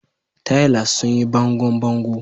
Tilers sun yi bangon bango.